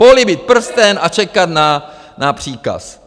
Políbit prsten a čekat na příkaz!